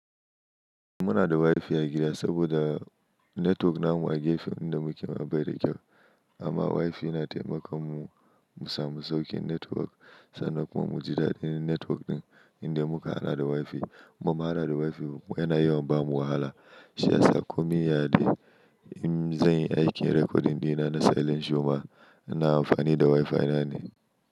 Muna da WiFi a gida saboda netwok namu a gefen inda muke ba yi da kyau. Amma WiFi yana taimaka mu samu saukin netwok, sannan kuma mu ji daɗin netwok ɗin inda muka haɗa da WiFi. Muma hana da WiFi kuma yana yawan bamu wahala. Shi yasa ko minane in zanyi, aikin zan yi aikin rekodin ɗina na selling shoma, ina amfani da WiFi na ne.